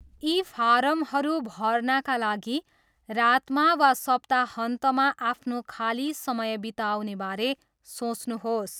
यी फारमहरू भर्नाका लागि रातमा वा सप्ताहन्तमा आफ्नो खाली समय बिताउने बारे सोच्नुहोस्।